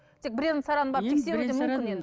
тек бірен сараң барып